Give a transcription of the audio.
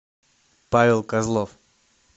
павел козлов